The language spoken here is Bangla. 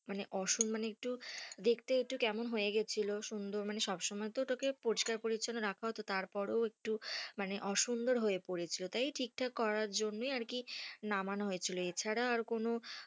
মানে অসম্মান একটু দেখতে একটু কেমন হয়ে গেছিল, সুন্দর মানে সব সময় তো তাকে পরিষ্কার পরিছন্ন রাখা হতো তার পরেও একটু মানে অসুন্দর হয়ে পড়েছিল তাই ঠিক থাকে করার জন্যই আরকি নামানো হয়েছিল এছাড়া আর কোনো,